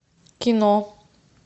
кино